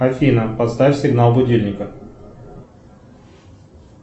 афина поставь сигнал будильника